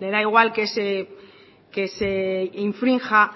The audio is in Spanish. le da igual que se infrinja